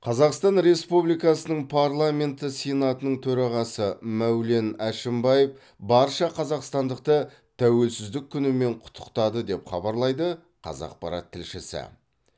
қазақстан республикасының парламенті сенатының төрағасы мәулен әшімбаев барша қазақстандықты тәуелсіздік күнімен құттықтады деп хабарлайды қазақпарат тілшісі